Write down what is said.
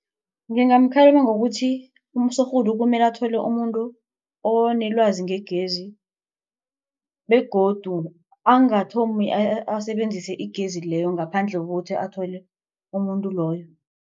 Ngingamkhalima ngokuthi usorhulu kumele athole umuntu onelwazi ngegezi begodu angathomi asebenzise igezi leyo ngaphandle kokuthi athole umuntu loyo.